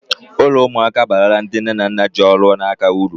Ụlọ ụmụaka abarala ndị nne na nna ji ọrụ n'aka uru